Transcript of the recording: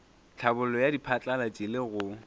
tlhabollo ya diphatlalatši le go